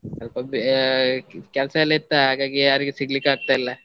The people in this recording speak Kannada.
ಸ್ವಲ್ಪ ಬೇ~ ಕೆಲ್ಸ ಎಲ್ಲ ಇತ್ತ ಹಾಗಾಗಿ ಯಾರಿಗೆ ಸಿಗ್ಲಿಕ್ಕಾಗ್ತಾ ಇಲ್ಲ.